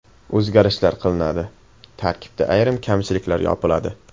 O‘zgarishlar qilinadi, tarkibda ayrim kamchiliklar yopiladi.